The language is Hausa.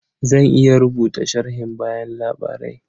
Zan iya rubuta sharhin bayan labarai.